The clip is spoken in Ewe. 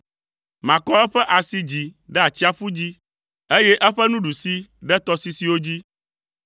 Makɔ eƒe asi dzi ɖe atsiaƒu dzi, eye eƒe nuɖusi ɖe tɔsisiwo dzi.